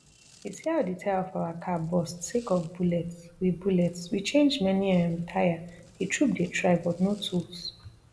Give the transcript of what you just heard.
you see how di tire of our car burst sake of bullets we bullets we change many um tire di troop dey try but no tools